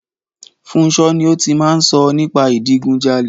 Funso ni ó ti máa ń sọ nípa ìdigunjalè.